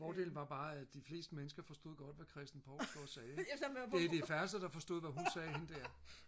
fordelen var bare at de fleste mennesker forstod godt hvad Christan Provstgaard sagde ikke det er de færreste der forstod hvad hun sagde hende der